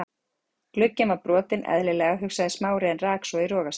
Glugginn var brotinn- eðlilega, hugsaði Smári en rak svo í rogastans.